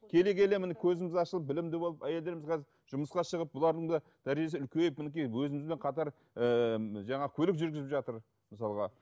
келе келе міне көзіміз ашылып білімді болып әйелдеріміз қазір жұмысқа шығып бұлардың да дәрежесі үлкейіп мінекей өзімізбен қатар ііі жаңағы көлік жүргізіп жатыр мысалға